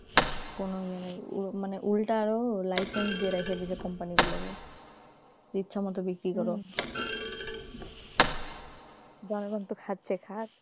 কোন ইয়ে নেই মানে উল্টা আরো license দিয়ে রেখে দিয়েছে company গুলোকে ইচ্ছামতো বিক্রি করো জনগণ তো খাচ্ছে খাক জনগণ খাবে